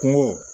Kungo